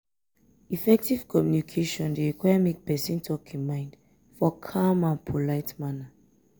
effective communication de require make person talk in mind for calm and polite manner